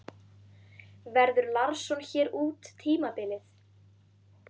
Verður Larsson hér út tímabilið?